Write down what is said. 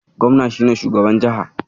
Gobna shi ne shugaban jiha